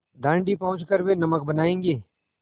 दाँडी पहुँच कर वे नमक बनायेंगे